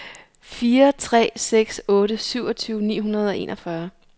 fire tre seks otte syvogtyve ni hundrede og enogfyrre